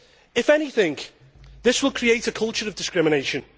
If anything, this will create a culture of discrimination.